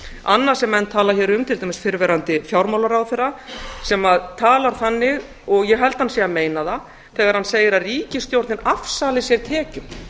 annað sem menn tala hér um til dæmis fyrrverandi fjármálaráðherra sem talar þannig og ég held að hann sé að meina það þegar hann segir að ríkisstjórnin afsali sér tekjum